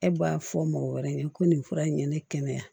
E b'a fɔ mɔgɔ wɛrɛ ye ko nin fura in ye ne kɛnɛya